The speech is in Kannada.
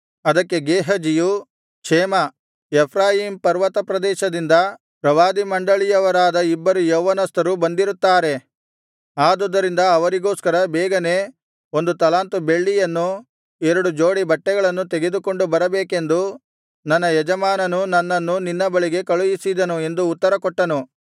ಅದಕ್ಕೆ ಗೇಹಜಿಯು ಕ್ಷೇಮ ಎಫ್ರಾಯೀಮ್ ಪರ್ವತ ಪ್ರದೇಶದಿಂದ ಪ್ರವಾದಿಮಂಡಳಿಯವರಾದ ಇಬ್ಬರು ಯೌವನಸ್ಥರು ಬಂದಿರುತ್ತಾರೆ ಆದುದರಿಂದ ಅವರಿಗೋಸ್ಕರ ಬೇಗನೇ ಒಂದು ತಲಾಂತು ಬೆಳ್ಳಿಯನ್ನೂ ಎರಡು ಜೋಡಿ ಬಟ್ಟೆಗಳನ್ನೂ ತೆಗೆದುಕೊಂಡು ಬರಬೇಕೆಂದು ನನ್ನ ಯಜಮಾನನು ನನ್ನನ್ನು ನಿನ್ನ ಬಳಿಗೆ ಕಳುಹಿಸಿದನು ಎಂದು ಉತ್ತರ ಕೊಟ್ಟನು